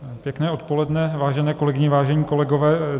Pěkné odpoledne, vážené kolegyně, vážení kolegové.